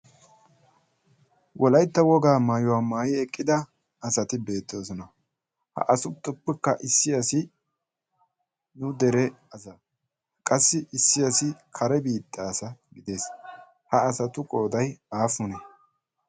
Wolaytta wogaa maayuwa maayidi eqqida asati beettoosona. Ha asatuppekka issi asi nu dere qassi issi asi kare biitta asa gides ha asatu qoodayi aappunee?